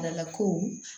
ko